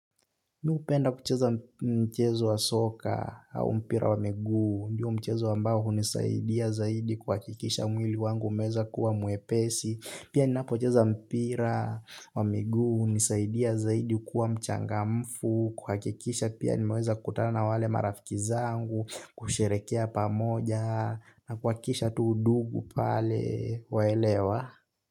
Mi hupenda kucheza mchezo wa soka au mpira wa miguu, ndio mchezo ambao hunisaidia zaidi kuhakikisha mwili wangu umeweza kuwa mwepesi, pia ninapocheza mpira wa miguu, hunisaidia zaidi kuwa mchangamfu, kuhakikisha pia nimeweza kukutana na wale marafiki zangu, kusherehekea pamoja, na kuhakikisha tu undugu pale waelewa.